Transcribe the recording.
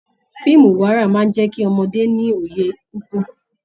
Fíìmù ìwárà máa n jẹ kí ọmọdé ní òye kíkún.